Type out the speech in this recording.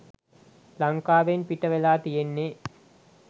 ලංකාවෙන් පිටවෙලා තියෙන්නෙ